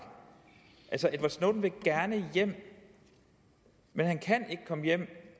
altså edward snowden vil gerne hjem men han kan ikke komme hjem